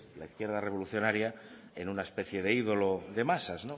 la izquierda revolucionaria en una especie de ídolo de masas